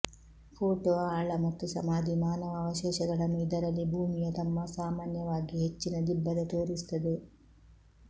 photo ಆಳ ಮತ್ತು ಸಮಾಧಿ ಮಾನವ ಅವಶೇಷಗಳನ್ನು ಇದರಲ್ಲಿ ಭೂಮಿಯ ತಮ್ಮ ಸಾಮಾನ್ಯವಾಗಿ ಹೆಚ್ಚಿನ ದಿಬ್ಬದ ತೋರಿಸುತ್ತದೆ